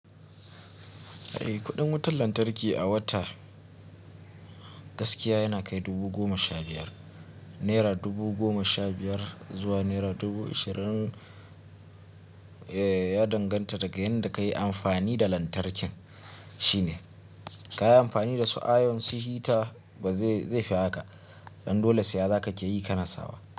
Eh kuɗin wutar lantarki a wata gaskiya yana kai naira dubu goma sha biyar. Naira dubu goma sha biyar zuwa naira dubu ashirin, eh ya danganta daga yanda ka yi amfani da lantarkin shine. Ka yi amfani da su iron su heater ba zai, zai fi haka. Dan dole siya za kake yi ka na sawa.